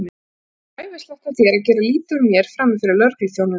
Það var ræfilslegt af þér að gera lítið úr mér frammi fyrir lögregluþjónunum!